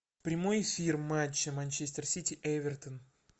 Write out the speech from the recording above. прямой эфир матча манчестер сити эвертон